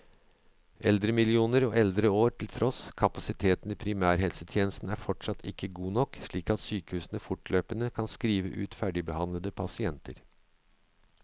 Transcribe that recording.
Eldremillioner og eldreår til tross, kapasiteten i primærhelsetjenesten er fortsatt ikke god nok, slik at sykehusene fortløpende kan skrive ut ferdigbehandlede pasienter.